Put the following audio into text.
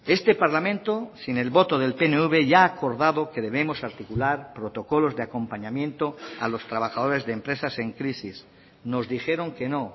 este parlamento sin el voto del pnv ya ha acordado que debemos articular protocolos de acompañamiento a los trabajadores de empresas en crisis nos dijeron que no